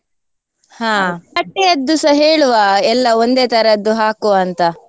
ಹಾ ಬಟ್ಟೆಯದ್ದುಸ ಹೇಳುವ ಎಲ್ಲಾ ಒಂದೆ ತರದ್ದು ಹಾಕುವಂತ.